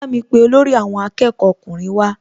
Bámi pe olórí àwọn akẹ́kọ̀ọ́ ọkùnrin wá